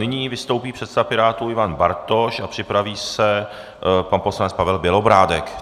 Nyní vystoupí předseda Pirátů Ivan Bartoš a připraví se pan poslanec Pavel Bělobrádek.